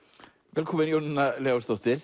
velkomin Jónína Leósdóttir